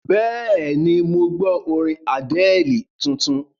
Bẹ́ẹ̀ni, mo gbọ́ orin Àdẹ́ẹ̀lì tuntun.